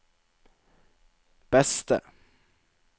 beste